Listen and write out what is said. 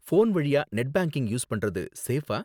Phone வழியா net banking use பண்றது சேஃபா?